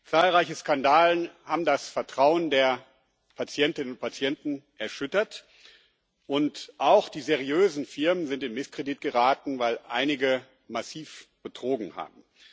Zahlreiche Skandale haben das Vertrauen der Patientinnen und Patienten erschüttert, und auch die seriösen Firmen sind in Misskredit geraten, weil einige massiv betrogen haben.